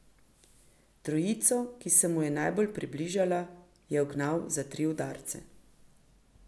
Trojico, ki se mu je najbolj približala, je ugnal za tri udarce.